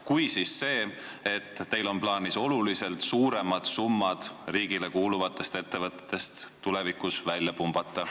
Kui tuleb, siis see, et teil on plaanis tulevikus oluliselt suuremad summad riigile kuuluvatest ettevõtetest välja pumbata.